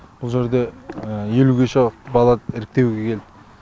бұл жерде елуге жуық бала іріктеуге келді